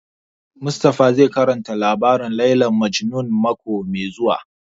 Mustapha zai karanta labarin Layla Majnun mako mai zuwa